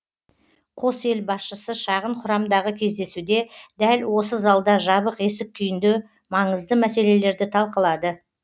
қос ел басшысы шағын құрамдағы кездесуде дәл осы залда жабық есік күйінде маңызды мәселелерді талқылады